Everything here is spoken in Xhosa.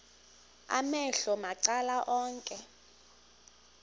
amehlo macala onke